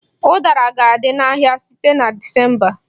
Udara ga-adị n'ahịa site na Disemba